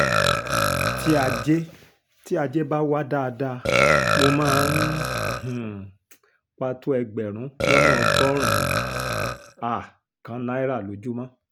tí ajé tí ajé bá wà dáadáa mo máa ń um pa tó ẹgbẹ̀rún lọ́nà ọgọ́rùn-ún um kan náírà lójúmọ́